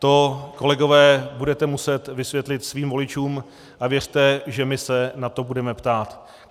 To, kolegové, budete muset vysvětlit svým voličům a věřte, že my se na to budeme ptát.